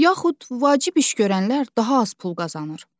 Yaxud vacib iş görənlər daha az pul qazanır.